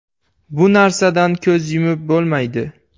Bu narsadan ko‘z yumib bo‘lmaydi.